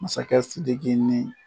Masakɛ Sidiki ni